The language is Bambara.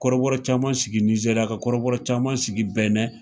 Kɔrɔbɔrɔ caman sigi Nizeriya, ka kɔrɔbɔrɔ caman sigi Bɛnɛn.